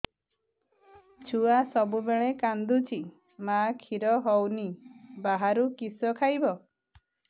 ଛୁଆ ସବୁବେଳେ କାନ୍ଦୁଚି ମା ଖିର ହଉନି ବାହାରୁ କିଷ ଖାଇବ